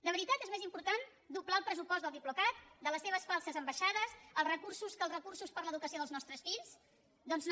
de veritat és més important doblar el pressupost del diplocat de les seves falses ambaixades que els recursos per a l’educació dels nostres fills doncs no